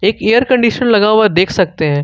एक air condition लगा हुआ है देख सकते हैं।